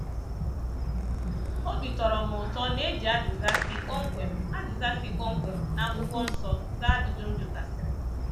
Obi tọrọ m ụtọ na e ji azịza si kpọmkwem azịza si kpọmkwem na akwụkwọ nsọ zaa ajụjụ m jụgasiri.